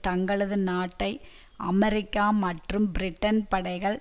தங்களது நாட்டை அமெரிக்கா மற்றும் பிரிட்டன் படைகள்